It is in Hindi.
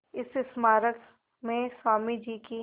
इस स्मारक में स्वामी जी की